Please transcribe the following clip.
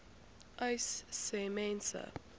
uys sê mense